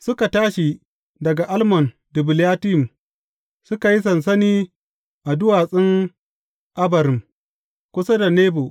Suka tashi daga Almon Dibilatayim, suka yi sansani a duwatsun Abarim, kusa da Nebo.